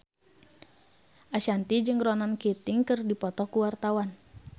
Ashanti jeung Ronan Keating keur dipoto ku wartawan